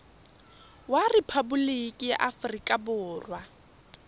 wa rephaboliki ya aforika borwa